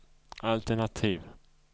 altenativ